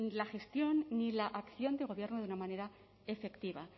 la gestión ni la acción de gobierno de una manera efectiva